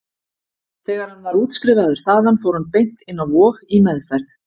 Þegar hann var útskrifaður þaðan fór hann beint inn á Vog, í meðferð.